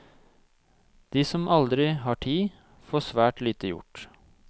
De som aldri har tid, får svært lite gjort.